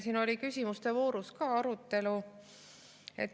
Siin küsimuste voorus oli ka arutelu.